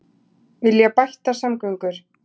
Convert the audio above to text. Vilja bættar samgöngur